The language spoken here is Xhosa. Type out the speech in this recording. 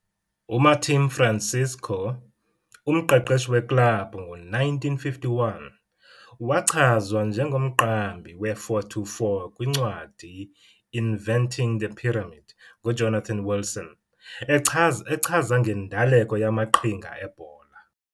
UMartim Francisco, umqeqeshi weklabhu ngo-1951, Umqeqeshi weklabhu ngo-1951, wachazwa njengomqambi we-4-2-4 kwincwadi 'Inverting The Pyramid' nguJonathan Wilson, echaza echaza ngendaleko yamaqhinga ebhola.